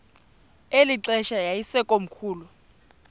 eli xesha yayisekomkhulu